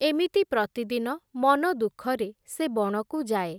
ଏମିତି ପ୍ରତିଦିନ ମନଦୁଃଖରେ ସେ ବଣକୁ ଯାଏ ।